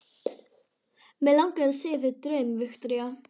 Mig langar að segja þér draum, Viktoría.